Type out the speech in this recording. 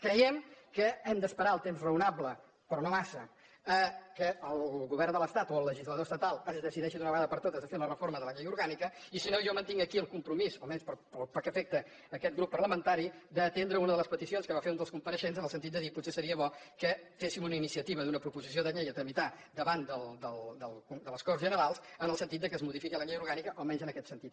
creiem que hem d’esperar el temps raonable però no massa que el govern de l’estat o el legislador estatal es decideixi d’una vegada per totes a fer la reforma de la llei orgànica i si no jo mantinc aquí el compromís almenys pel que afecta aquesta grup parlamentari d’atendre una de les peticions que va fer un dels compareixents en el sentit de dir potser seria bo que féssim una iniciativa d’una proposició de llei a tramitar davant de les corts generals en el sentit que es modifiqui la llei orgànica almenys en aquest sentit